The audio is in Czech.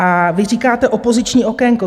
A vy říkáte opoziční okénko.